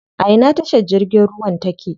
A ina tashar jirgin ruwan take?